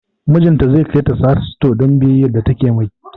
Mijinta zai kai ta Sahad stores don biyayya da take mai